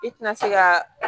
I tina se ka